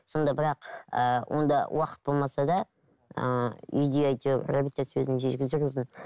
сонда бірақ ыыы онда уақыт болмаса да ыыы үйде реабилитация өзім жүргіздім